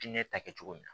Diinɛ ta kɛ cogo min na